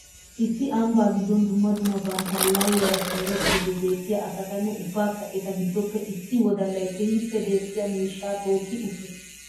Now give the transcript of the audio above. Issi ambba giddon dumma dumma bantta aallalliyaara simirettiddi beettiya asatanne ubbakka eta giddoppe issi wodallay keehippe dexxiya miishshaa tokki uttiis.